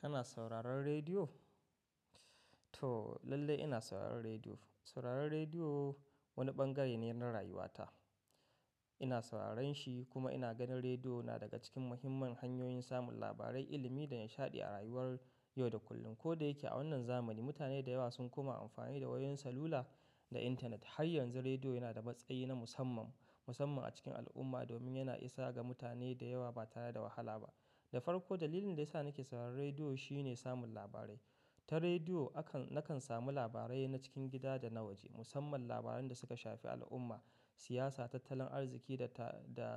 Kana sauraron rediyo? To lallai ina sauraron rediyo. Sauraron rediyo wani bangare ne na rayuwata. Ina sauraron shi kuma ina ganin rediyo na daga cikin muhimman hanyoyin samun labarai, ilimi da nishaɗi a rayuwar yau da kullum. Ko da yake a wannan zamani mutane da yawa sun koma amfani da wayoyin salula da intanet, har yanzu rediyo yana da matsayi na musamman, musamman a cikin al'umma domin yana isa ga mutane da yawa ba tare da wahala ba. Da farko dalilin da ya sa nake sauraron rediyo shine samun labarai. Ta rediyo nakan samu labarai na cikin gida da na waje musamman labaran da suka shafi al'umma, siyasa, tattalin arziki da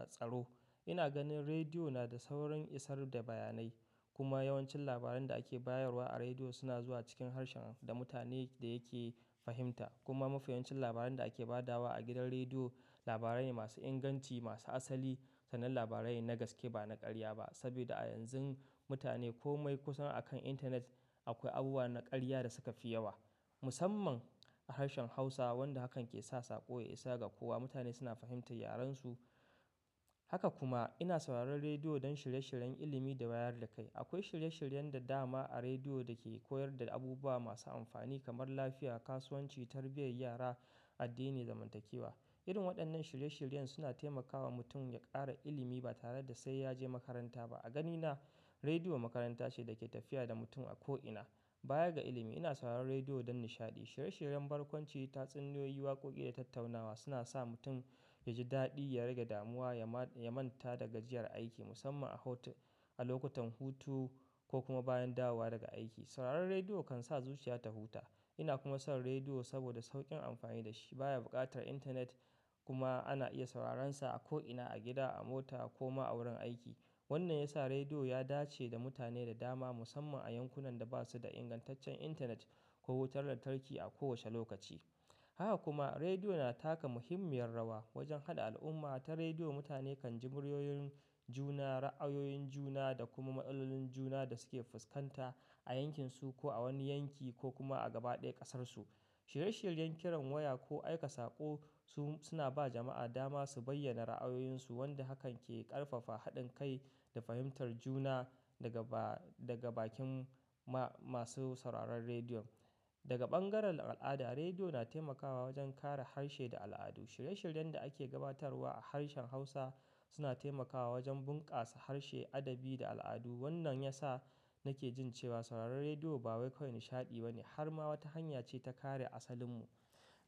tsaro. Ina ganin rediyo na da saurin isar da bayanai kuma yawancin labaran da ake bayarwa a rediyo suna zuwa cikin harshen da mutane yake fahimta. Kuma mafiyancin labaran da ake ba da wa a gidan rediyo labarai ne masu inganci, masu asali, sannan labarai na gaske ba na ƙarya ba. Saboda a yanzun mutane komai kusan akan intanet akwai abubuwa na ƙarya da suka fi yawa. Musamman a harshen Hausa wanda hakan ke sa saƙo ya isa ga kowa. Mutane suna fahimtar yarensu. Haka kuma ina sauraron rediyo don shirye-shiryen ilimi da wayar da kai. Akwai shirye-shiryen da dama a rediyo da ke koyar da abubuwa masu amfani kamar lafiya, kasuwanci, tarbiyyar yara, addini da zamantakewa. Irin waɗannan shirye-shiryen suna taimakawa mutum ya ƙara ilimi ba tare da sai ya je makaranta ba. A ganina rediyo makaranta ce da ke tafiya da mutum a ko ina. Baya ga ilimi ina sauraron rediyo don nishaɗi, shirye-shiryen barkwanci, tatsuniyoyi, waƙoƙi da tattaunawa suna sa mutum ya ji daɗi, ya rage damuwa, ya manta da gajiyar aiki musamman a lokutan hutu ko kuma bayan dawowa daga aiki. Sauraron rediyo kan sa zuciya ta huta. Ina kuma son rediyo saboda sauƙin amfani da shi. Ba ya buƙatar intanet kuma ana iya sauraron sa a ko ina, a gida, a mota ko ma a wurin aiki. Wannan ya sa rediyo ya dace da mutane da dama musamman a yankunan da ba su da ingantaccen intanet ko wutar lantarki a kowace lokaci. Haka kuma rediyo na taka muhimmiyar rawa wajen haɗa al'umma. Ita rediyo mutane kan ji muryoyin juna, ra'ayoyin juna da kuma matsaloolin juna da suke fuskanta a yankinsu ko a wani yanki ko kuma a gaba ɗaya ƙasarsu. Shirye-shiryen kiran waya ko aika saƙo suna ba jama'a dama su bayyana ra'ayoyinsu wanda hakan ke ƙarfafa haɗin kai da fahimtar juna daga bakin masu sauraron rediyon. Daga ɓangaren al'ada rediyo na taimakawa wajen kare harshe da al'adu. Shirye-shiryen da ake gabatarwa a harshen Hausa suna taimakawa wajen bunkasa harshe, adabi da al'adu. Wannan ya sa nake jin cewa sauraron rediyo ba wai kawai nishaɗi ba ne har ma wata hanya ce ta kare asalin mu.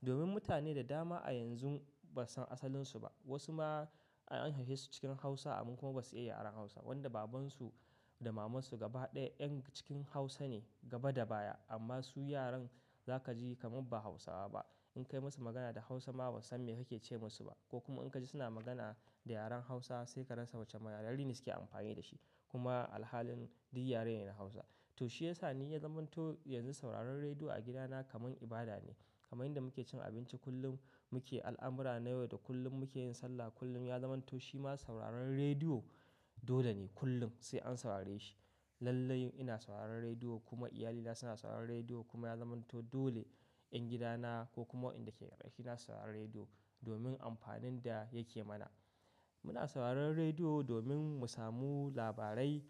Domin mutane da dama a yanzu ba su san asalinsu ba. Wasu ma an haihesu cikin Hausa amma kuma ba su iya yaren Hausa. Wanda babansu da mamansu gaba ɗaya 'yan cikin Hausa ne gaba da baya amma su yaran za ka ji kamar ba Hausawa ba. In kai musu magana da Hausa ma ba san me kake ce musu ba ko kuma in ka ji suna magana da yaren Hausa sai ka rasa wacce yara ne suke amfani da shi kuma a halin duk yaren yana Hausa. To shi ya sa ni ya zamanto yanzu sauraron rediyo a gidana kamar ibada ne. Kamar yadda muke cin abinci kullum muke al'amura na yau da kullum muke yin sallah kullum ya zamanto shima sauraron rediyo dole ne kullum sai an saurare shi. Lallai ina sauraron rediyo kuma iyalina suna sauraron rediyo kuma ya zamanto dole 'yan gidana ko kuma waɗanda ke ƙarƙashina su saurari rediyo domin amfanin da yake mana. Muna sauraron rediyo domin mu samu labarai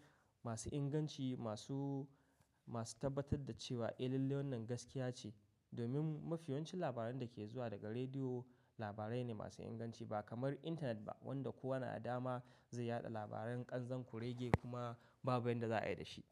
masu inganci, masu tabbatar da cewa eh lallai wannan gaskiya ce. Domin mafiyancin labaran da ke zuwa daga rediyo labarai ne masu inganci ba kamar intanet ba wanda kowa na da dama zai yaɗa labaran ƙanzan kurege kuma babu wanda za a yi da shi.